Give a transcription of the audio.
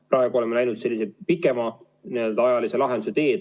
Praegu oleme läinud sellise pikemaajalise lahenduse teed.